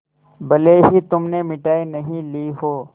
भले ही तुमने मिठाई नहीं ली हो